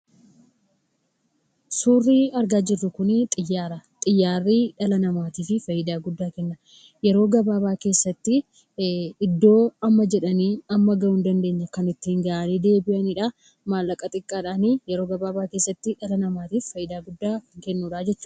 Suurri argaa jirru kunii, xiyyaara. Xiyyaarri dhala namaatiif fayidaa guddaa kenna. Yeroo gabaabaa keessattii iddoo amma jedhanii amma gahuu hin dandeenye kan ittiin gahanii deebi'aniidha. Maallaqa xiqqaadhaan yeroo gabaabaa keessatti dhala namaatiif fayidaa guddaa kennu jechuudha.